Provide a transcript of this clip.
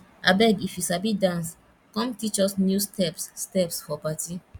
abeg if you sabi dance come teach us new steps steps for party